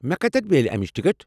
مےٚ کتٮ۪ن میلہِ امِچ ٹکٹ؟